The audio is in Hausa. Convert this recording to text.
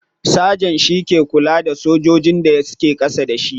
Sergeant shi ke lura da sojojin da ke kasa da shi.